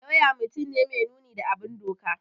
Lauya mutum ne mai nuni da bin doka